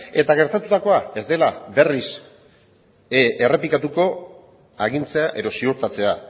eta gertatutakoa ez dela berriz errepikatu agintzea edo ziurtatzea